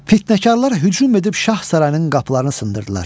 Fitnəkarlar hücum edib şah sarayının qapılarını sındırdılar.